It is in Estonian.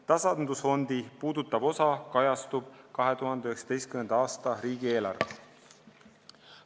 Tasandusfondi puudutav osa kajastub 2019. aasta riigieelarves.